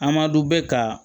A ma dɔn bɛ ka